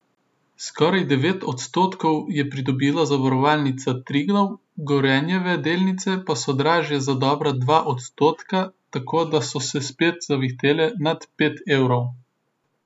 Skoraj devet odstotkov je pridobila Zavarovalnica Triglav, Gorenjeve delnice pa so dražje za dobra dva odstotka, tako da so se spet zavihtele nad pet evrov.